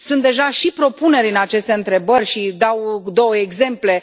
Sunt deja și propuneri în aceste întrebări și dau două exemple.